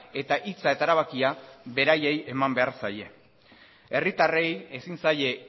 eta hitza eta erabakia beraiei eman behar zaien herritarrei ezin zaie